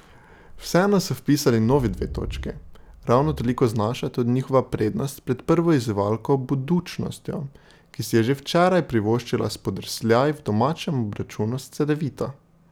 Vseeno so vpisali novi dve točki, ravno toliko znaša tudi njihova prednost pred prvo izzivalko Budućnostjo, ki si je že včeraj privoščila spodrsljaj v domačem obračunu s Cedevito.